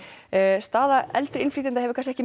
staða eldri innflytjenda hefur kannski ekki